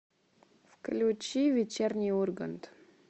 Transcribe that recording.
включи вечерний ургант